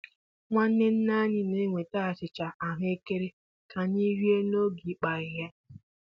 Nwanne nne anyị na-eweta achịcha ahụekere ka anyị rie n'oge ịkpụ ahịhịa.